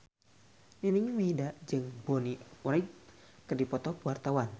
Nining Meida jeung Bonnie Wright keur dipoto ku wartawan